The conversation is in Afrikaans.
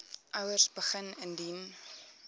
ouers begin indien